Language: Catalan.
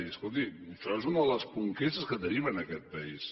i escolti això és una de les conquestes que tenim en aquest país